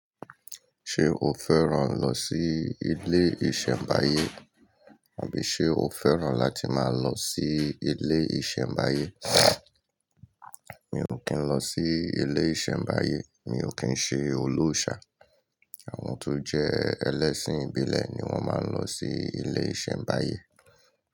Ṣé o fẹ́ràn lọ sí ilé ìṣẹ̀mbáyé? Àbí ṣe o fẹ́ràn láti máa lọ sí ilé ìṣẹ̀mbáyé? Mi ò kí ń lọ sí ilé ìṣẹ̀mbáyé. Mi ò kí ń ṣe olóòṣà. Àwọn tó jẹ́ ẹlẹ́ṣin ìbílẹ̀ ni wọ́n máa ń lọ sí ilé ìṣẹ̀mbáyé.